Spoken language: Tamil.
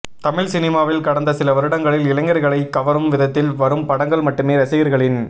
தமிழ் சினிமாவில் கடந்த சில வருடங்களில் இளைஞர்களைக் கவரும் விதத்தில் வரும் படங்கள் மட்டுமே ரசிகர்களின்